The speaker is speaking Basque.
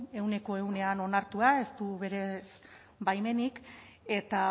ehuneko ehunean onartua ez du baimenik eta